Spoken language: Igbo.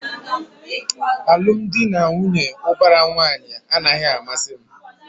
Alụmdi na nwunye ubara nwanyi a naghị amasị m